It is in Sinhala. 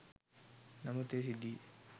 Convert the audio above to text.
නමුත් මේ සිද්ධියේ